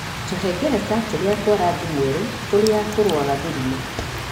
Tũhengereta tũria twa rangi mwerũ tũrĩa tũrũaga mĩrimũ.